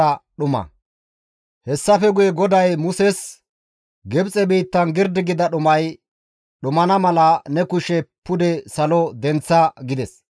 Hessafe guye GODAY Muses, «Gibxe biittan girdi gida dhumay dhumana mala ne kushe pude salo denththa» gides.